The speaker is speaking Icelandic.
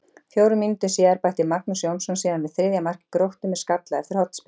Fjórum mínútum síðar bætti Magnús Jónsson síðan við þriðja marki Gróttu með skalla eftir hornspyrnu.